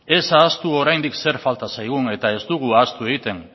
ez ahaztu oraindik zer falta zaigun eta ez dugu ahaztu egiten